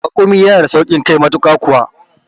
Raƙumi yana da sauƙin kai matuƙa kuwa